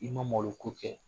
I ma malo ko kɛ